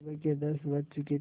सुबह के दस बज चुके थे